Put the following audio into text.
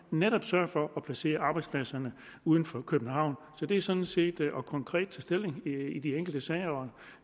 netop sørge for at placere arbejdspladserne uden for københavn det er sådan set at tage konkret stilling i de enkelte sager